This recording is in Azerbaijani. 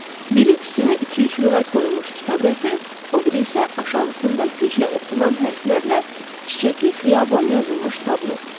Biri üstünə iki-üç lüğət qoyulmuş kitab rəfi, o biri isə aşağısında güclə oxunan hərflərlə çiçəkli xiyaban yazılmış tablo.